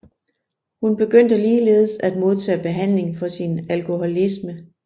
Hun begyndte ligeledes at modtage behandling for sin alkoholisme